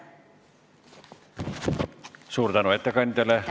Suur tänu ettekandjale!